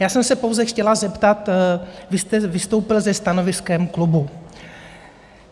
Já jsem se pouze chtěla zeptat, vy jste vystoupil se stanoviskem klubu.